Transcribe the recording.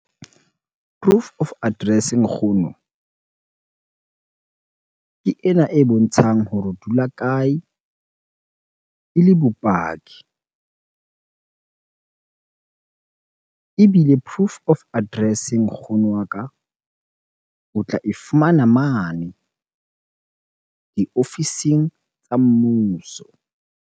Proof of address nkgono, ke ena e bontshang hore o dula kae e le bopaki? Ebile proof of address nkgono wa ka o tla e fumana mane diofising tsa mmuso.